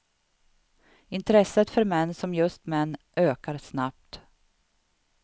Intresset för män som just män ökar snabbt.